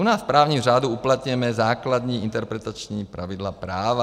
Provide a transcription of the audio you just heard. U nás v právním řádu uplatňujeme základní interpretační pravidla práva.